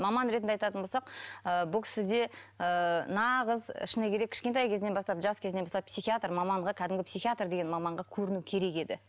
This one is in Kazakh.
маман ретінде айтатын болсақ ы бұл кісіде ы нағыз шыны керек кішкентай кезінен бастап жас кезінен бастап психиатр маманға кәдімгі психиатр деген маманға көріну керек еді